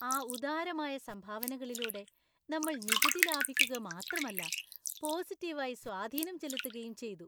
ആ ഉദാരമായ സംഭാവനകളിലൂടെ നമ്മൾ നികുതി ലാഭിക്കുക മാത്രമല്ല പോസിറ്റീവായി സ്വാധീനം ചെലുത്തുകയും ചെയ്തു!